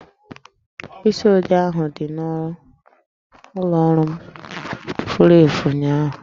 Mkpịsi odee ahụ dị n'ụlọ ọrụ m furu efu ụnyaahụ